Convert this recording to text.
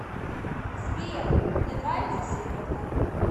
сбер мне нравится селедка